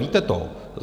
Víte to?